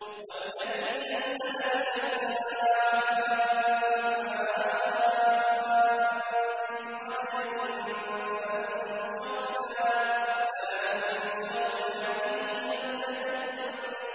وَالَّذِي نَزَّلَ مِنَ السَّمَاءِ مَاءً بِقَدَرٍ فَأَنشَرْنَا بِهِ بَلْدَةً